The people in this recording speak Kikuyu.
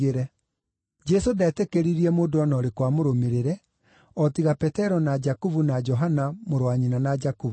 Jesũ ndetĩkĩririe mũndũ o na ũrĩkũ amũrũmĩrĩre, o tiga Petero na Jakubu na Johana mũrũ wa nyina na Jakubu.